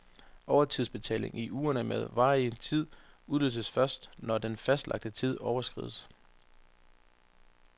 Overtidsbetaling i uger med varierende tid udløses først, når den fastlagte tid overskrides.